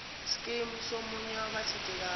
scheme somunye wabathintekayo